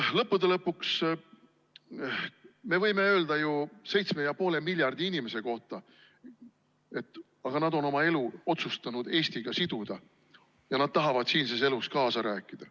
Lõppude lõpuks me võime öelda ju 7,5 miljardi inimese kohta, et aga nad on oma elu otsustanud Eestiga siduda ja nad tahavad siinses elus kaasa rääkida.